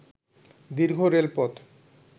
দীর্ঘ রেলপথ